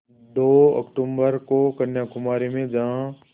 दो अक्तूबर को कन्याकुमारी में जहाँ